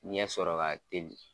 Ɲɛsɔrɔ ka teli.